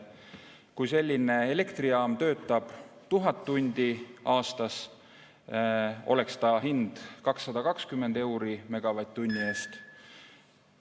Kui selline elektrijaam töötab 1000 tundi aastas, oleks hind 220 eurot megavatt-tunni eest.